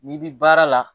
N'i bi baara la